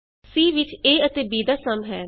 c ਵਿਚ a ਅਤੇ b ਦਾ ਸਮ ਹੈ